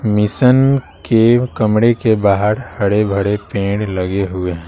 Mission के कमरे के बाहर हरे-भड़े पेड़ लगे हुए है।